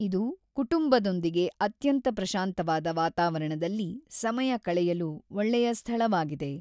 ಇದು ಕುಟುಂಬದೊಂದಿಗೆ ಅತ್ಯಂತ ಪ್ರಶಾಂತವಾದ ವಾತಾವರಣದಲ್ಲಿ ಸಮಯ ಕಳೆಯಲು ಒಳ್ಳೆಯ ಸ್ಥಳವಾಗಿದೆ.